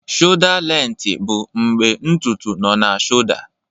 Shọda lenti bụ mgbe ntutu nọ na Shọda.